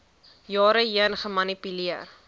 jare heen gemanipuleer